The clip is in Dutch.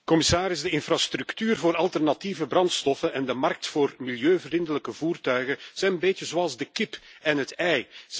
Commissaris, de infrastructuur voor alternatieve brandstoffen en de markt voor milieuvriendelijke voertuigen zijn een beetje zoals de kip en het ei.